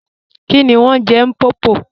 Kíni wọn n je M̀popo?